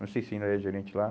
Não sei se ainda é gerente lá.